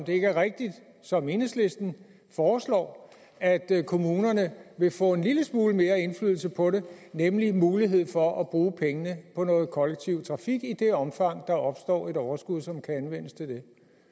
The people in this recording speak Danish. ikke rigtigt som enhedslisten foreslår at kommunerne vil få en lille smule mere indflydelse på det nemlig mulighed for at bruge pengene på noget kollektiv trafik i det omfang der opstår et overskud som kan anvendes til